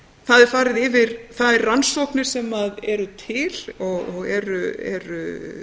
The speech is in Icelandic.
það er farið yfir þær rannsóknir sem eru til og eru